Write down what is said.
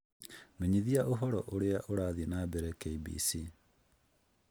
menyithia ũhoro Ũrĩa Ũrathi na mbere k.b.c